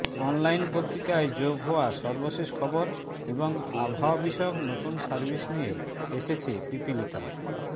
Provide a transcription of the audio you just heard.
online পত্রিকায় যোগ হওয়া সর্বশেষ খবর এবং আবহাওয়া বিষয়ক নতুন সার্ভিস নিয়ে এসেছে পিপীলিকা